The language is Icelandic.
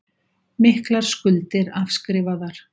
Miklar skuldir afskrifaðar